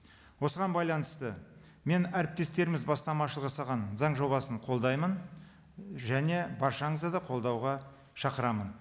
осыған байланысты мен әріптестеріміз бастамашылық жасаған заң жобасын қолдаймын және баршаңызды да қолдауға шақырамын